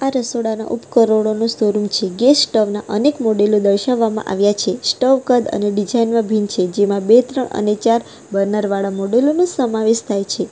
રસોડા ના ઉપકરણોનો શો રૂમ છે ગેસ સ્ટવ ના અનેક મોડેલો દર્શાવવામાં આવ્યા છે સ્ટવ કદ અને ડિઝાઇન માં ભિન્ન છે જેમાં બે ત્રણ અને ચાર બર્નર વાળા મોડેલો નો સમાવેશ થાય છે.